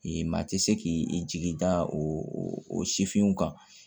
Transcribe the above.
I maa tɛ se k'i jigi da o o sifinw kan